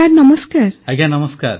ପ୍ରଧାନମନ୍ତ୍ରୀ ଆଜ୍ଞା ନମସ୍କାର